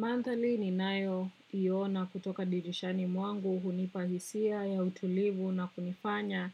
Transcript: Manthali ninayo iona kutoka dirishani mwangu hunipa hisia ya utulivu na kunifanya